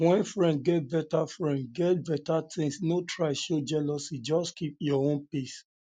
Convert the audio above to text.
when friend get better friend get better things no try show jealousy just keep um your own pace